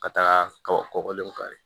Ka taga kaba kɔkɔlenw kari